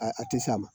A a tɛ s'a ma